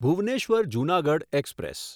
Bhubaneswar Junagadh express